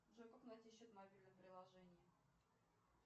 джой как найти счет в мобильном приложении